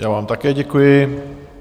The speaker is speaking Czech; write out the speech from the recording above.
Já vám také děkuji.